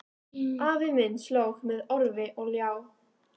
Afi minn slóg með orfi og ljá